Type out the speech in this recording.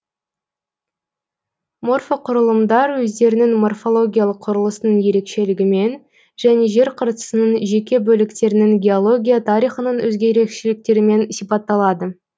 морфоқұрылымдар өздерінің морфологиялық құрылысының ерекшелігімен және жер қыртысының жеке бөліктерінің геология тарихының өзге ерекшеліктерімен сипатталады